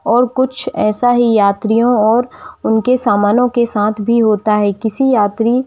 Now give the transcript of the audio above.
और कुछ ऐसा ही यात्रियों और उनके सामानों के साथ भी होता है किसी यात्री--